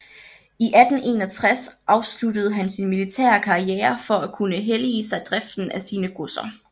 I 1861 afsluttede han sin militære karriere for at kunne hellige sig driften af sine godser